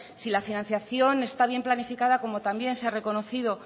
si la financiación está bien planificada como también se ha reconocido